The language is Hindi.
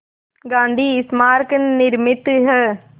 गांधी स्मारक निर्मित है